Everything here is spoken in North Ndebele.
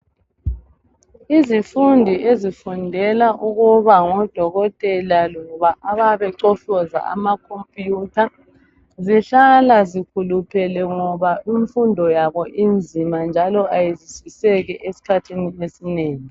Izifundi ezifundela ukuba ngodokotela loba abayabe becofoza ama computer zihlala zithukuthele ngoba imfundo yabo inzima njalo ayizwisiseki esikhathini esinengi.